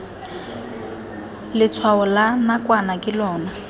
letshwao la nakwana ke lona